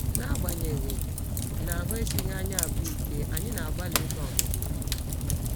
N’agbanyeghị na ahụ́ esighị anyị abụọ ike, anyị na - agbalị aga ọmụmụ ihe.